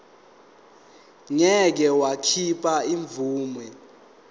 ngeke wakhipha imvume